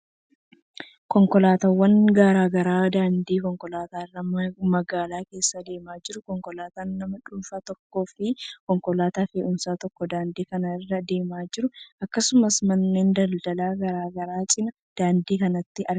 Konkolaataawwan garaa garaa daandii konkolaataa irra magaalaa keessa deemaa jiru. Konkolaataa nama dhuunfaa tokkoo fi konkolaataa fe'umsaa tokko daandii kana irra deemaa jiru. Akkasumas manneen daldalaa garaa garaa cina daandii kanaatti argamu.